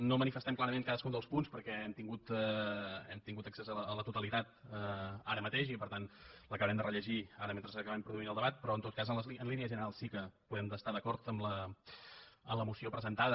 no manifestem clarament cadascun dels punts perquè hem tingut accés a la totalitat ara mateix i per tant l’acabarem de rellegir ara mentre acabem produint el debat però en tot cas en línies generals sí que podem estar d’acord amb la moció presentada